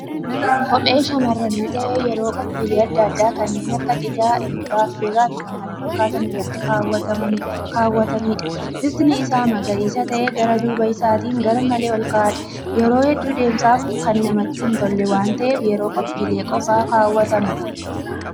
Kophee shamarranii ta'ee yeroo qophiilee adda addaa kanneen akka cidhaa, eebba, affeerrifi kan kana fakkaatan irratti keewwataniidha. Bifti isaa magariisa ta'ee gara duuba isaatiin garmalee olka'aadha. Yeroo hedduu deemsaf kan namatti hin tolle waan ta'eef yeroo kophiilee qofa keewwatama.